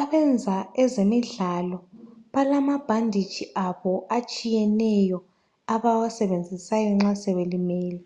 Abenza ezemidlalo balamabhandetshi abo atshiyeneyo abawasebenzisayo nxa sebelimele.